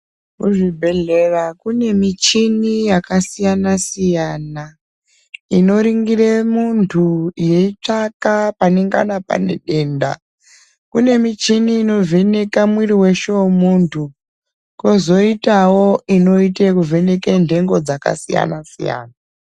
Kuzvibhedhlera kune michini yakasiyana siyana inoringire muntu yeitsvaka panengana paine denda. Kune michini inovheneka mwiri weshe wemuntu kozoitawo inoitekuvheneke nhengo dzakasiyana siyana.